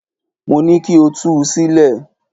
Mo ní kí o tú u sílẹ̀!